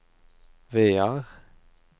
Vear